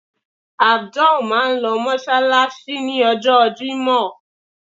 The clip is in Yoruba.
Abdul máà ń lọ mọ́ṣáláṣí. ní ọjọ́ jimo.